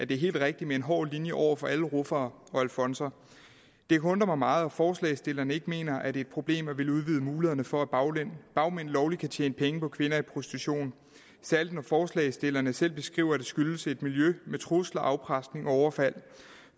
det er helt rigtigt med en hård linje over for alle ruffere og alfonser det undrer mig meget at forslagsstillerne ikke mener at det er et problem at ville udvide mulighederne for at bagmænd lovligt kan tjene penge på kvinder i prostitution særlig når forslagsstillerne selv beskriver at det skyldes et miljø med trusler afpresning og overfald